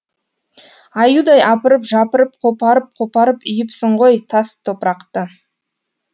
аюдай апырып жапырып қопарып қопарып үйіпсің ғой тас топырақты